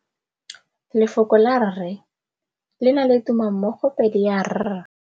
Lefoko la rre le na le tumammogôpedi ya, r.